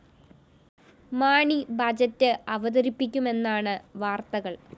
Mani budget അവതരിപ്പിക്കുമെന്നാണ് വാര്‍ത്തകള്‍